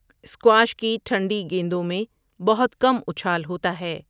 Squash کی ٹھنڈی گیندوں میں بہت کم اچھال ہوتا ہے۔